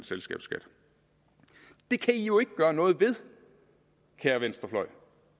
selskabsskat det kan i jo ikke gøre noget ved kære venstrefløj